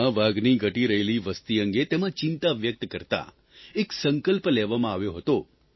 દુનિયામાં વાઘની ઘટી રહેલી વસતિ અંગે તેમાં ચિંતા વ્યકત કરતાં એક સંકલ્પ લેવામાં આવ્યો હતો